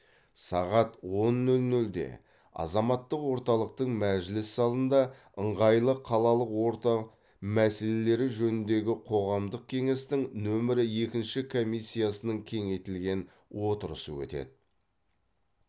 сағат он нөл нөлде азаматтық орталықтың мәжіліс залында ыңғайлы қалалық орта мәселелері жөніндегі қоғамдық кеңестің нөмірі екінші комиссиясының кеңейтілген отырысы өтеді